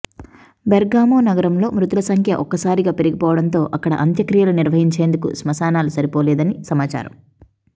Bergamo నగరంలో మృతులు సంఖ్య ఒక్కసారిగా పెరిగిపోవడంతో అక్కడ అంత్యక్రియలు నిర్వహించేందుకు స్మశానాలు సరిపోలేదని సమాచారం